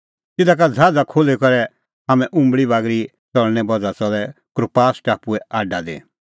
तिधा का ज़हाज़ खोल्ही करै हाम्हैं उंबल़ी बागरी च़लणें बज़्हा च़लै कुप्रास टापुए आडा दी